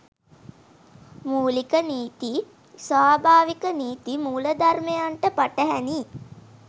මූලික නීති ස්වභාවික නීති මූලධර්මයන්ට පටහැනියි.